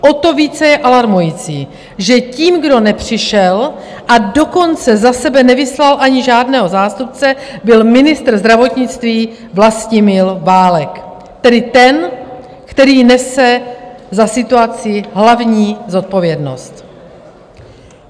O to více je alarmující, že tím, kdo nepřišel, a dokonce za sebe nevyslal ani žádného zástupce, byl ministr zdravotnictví Vlastimil Válek, tedy ten, který nese za situaci hlavní zodpovědnost.